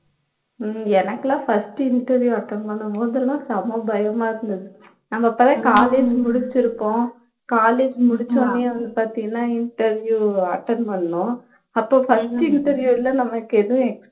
உம் எனக்கெல்லாம் first interview attend பண்ணும்போதெல்லாம் செம பயமா இருந்தது நம்ம அப்போதான் college முடிச்சிருப்போம் college முடிச்சோனே வந்து பாத்தியன்னா interview attend பண்ணோம் அப்போ first interview ல நமக்கு எதுவும் எ